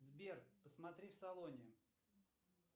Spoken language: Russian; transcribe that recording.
сбер посмотри в салоне